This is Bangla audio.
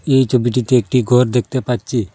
এই ছবিটিতে একটি ঘর দেখতে পাচ্ছি।